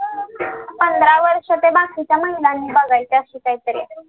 पंधरा वर्ष्यांचा ते बाकीच महिलांनी बघायचं आहे असं काहीतरी आहे